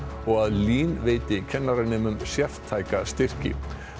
og að LÍN veiti kennaranemum sértæka styrki